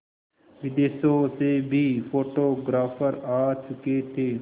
विदेशों से भी फोटोग्राफर आ चुके थे